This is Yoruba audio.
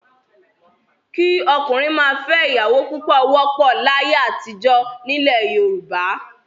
Kí ọkùnrin máa fẹ́ ìyàwó púpọ̀ wọ́pọ̀ láyé àtijọ́ nílẹ̀ Yorùbá.